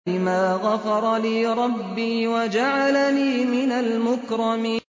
بِمَا غَفَرَ لِي رَبِّي وَجَعَلَنِي مِنَ الْمُكْرَمِينَ